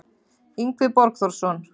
Yngvi Borgþórsson